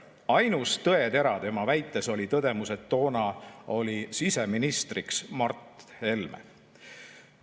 Ainus tõetera tema väites oli tõdemus, et toona oli siseministriks Mart Helme.